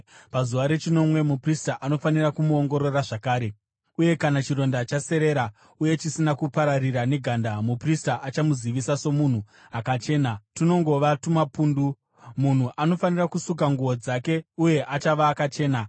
Pazuva rechinomwe muprista anofanira kumuongorora zvakare, uye kana chironda chaserera uye chisina kupararira neganda, muprista achamuzivisa somunhu akachena, tunongova tumapundu. Munhu anofanira kusuka nguo dzake uye achava akachena.